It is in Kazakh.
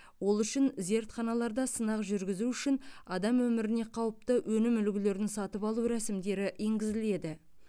ол үшін зертханаларда сынақ жүргізу үшін адам өміріне қауіпті өнім үлгілерін сатып алу рәсімдері енгізіледі